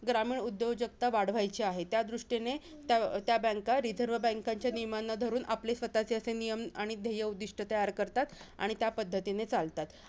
ग्रामीण उद्योजगता वाढवायची आहे. त्यादृष्टीने त्या banks रिझर्व बँकेेच्या नियमांना धरून आपले स्वतःचे असे नियम आणि ध्येय उद्दिष्ट तयार करतात आणि त्यापद्धतीने चालतात.